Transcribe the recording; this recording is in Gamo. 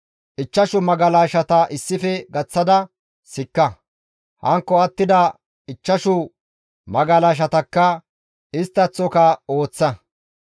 Ichchashu magalashata issife gaththa sikka; hankko attida ichchashu magalashatakka isttaththoka ooththa.